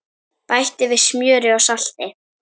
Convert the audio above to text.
Bætti við smjöri og salti.